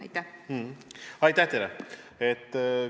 Aitäh teile!